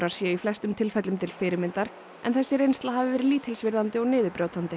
séu í flestum tilfellum til fyrirmyndar en þessi reynsla hafi verið lítilsvirðandi og niðurbrjótandi